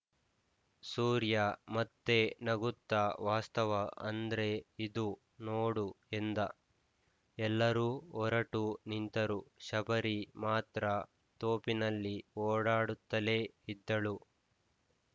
ಸೂರ್ಯ ಮತ್ತೆ ನಗುತ್ತ ವಾಸ್ತವ ಅಂದ್ರೆ ಇದು ನೋಡು ಎಂದ ಎಲ್ಲರೂ ಹೊರಟು ನಿಂತರು ಶಬರಿ ಮಾತ್ರ ತೋಪಿನಲ್ಲಿ ಓಡಾಡುತ್ತಲೇ ಇದ್ದಳು